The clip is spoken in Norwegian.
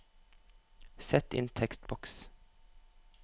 Sett inn tekstboks